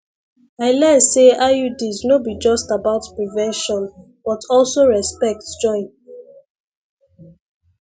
i learn say iuds no be just about prevention but also respect join